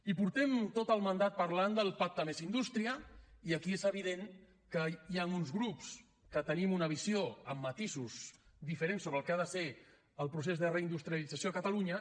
i portem tot el mandat parlant del pacte més indústria i aquí és evident que hi han uns grups que tenim una visió amb matisos diferents sobre el que ha de ser el procés de reindustrialització a catalunya